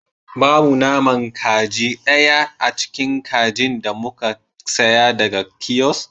Babu naman kaji daya a cikin kajin da muka saya daga kiosk